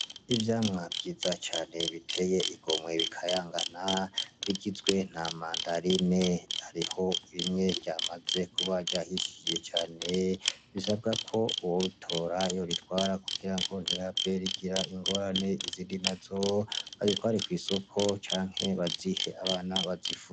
Ivyamwa vyiza cane biteye igomwe bikayanga bigizwe na mandarine hariho rimwe ryamaze kuba ryahishiye cane risabwa ko uwotora yoritwara kugira ngo ntirihave rigira ingorane , izindi nazo bazitware kw’isoko canke bazihe abana bazifungure.